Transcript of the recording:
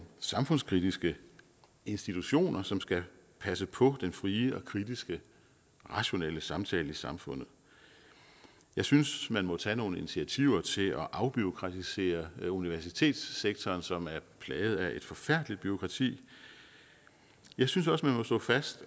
samfundskritiske institutioner som skal passe på den frie og kritiske rationelle samtale i samfundet jeg synes man må tage nogle initiativer til at afbureaukratisere universitetssektoren som er plaget af et forfærdeligt bureaukrati jeg synes også man må slå fast